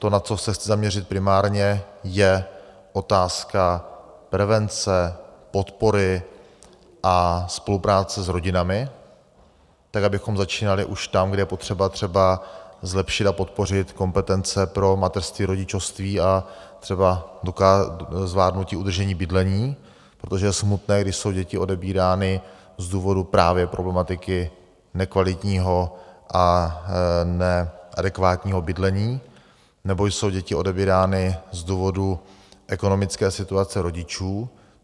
To, na co se chci zaměřit primárně, je otázka prevence, podpory a spolupráce s rodinami tak, abychom začínali už tam, kde je potřeba třeba zlepšit a podpořit kompetence pro mateřství, rodičovství a třeba zvládnutí udržení bydlení, protože je smutné, když jsou děti odebírány z důvodu právě problematiky nekvalitního a neadekvátního bydlení, nebo jsou děti odebírány z důvodu ekonomické situace rodičů.